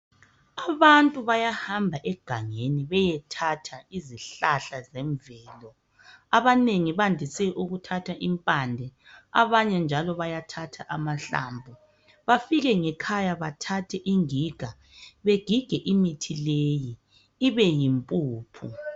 Abantu bayahamba egangeni beyethatha izihlahla zemvelo abanengi bandise ukuthatha impande abanye njalo bayathatha amahlamvu bafike ngekhaya bathathe ingiga begige imithi leyi ibeyimpuphu.